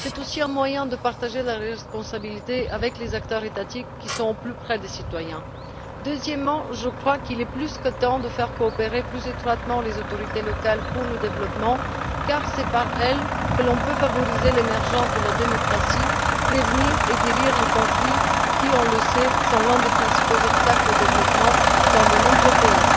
C'est aussi un moyen de partager la responsabilité avec les acteurs étatiques qui sont au plus près des citoyens. Deuxièmement, je crois qu'il est plus que temps de faire coopérer plus étroitement les autorités locales pour le développement car c'est par elles que l'on peut favoriser l'émergence de la démocratie, prévenir et guérir les conflits, qui, on le sait, sont l'un des principaux obstacles au développement dans de nombreux pays.